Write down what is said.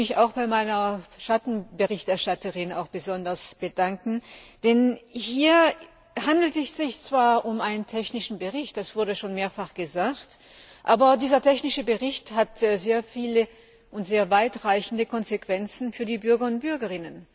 Ich möchte mich auch besonders bei meiner Schattenberichterstatterin bedanken, denn hier handelt es sich zwar um einen technischen Bericht das wurde schon mehrfach gesagt aber dieser technische Bericht hat sehr viele und sehr weitreichende Konsequenzen für die Bürgerinnen und Bürger.